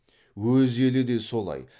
өз елі де солай